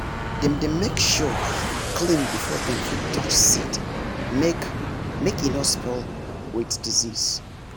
dem dey make sure hand clean before dem fit touch seed make make e no spoil m with disease